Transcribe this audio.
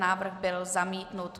Návrh byl zamítnut.